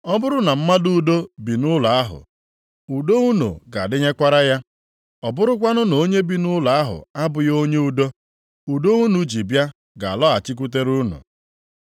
Ọ bụrụ na mmadụ udo bi nʼụlọ ahụ, udo unu ga-adịnyekwara ya. Ọ bụrụkwanụ na onye bi nʼụlọ ahụ abụghị onye udo, udo unu ji bịa ga-alọghachitekwara unu.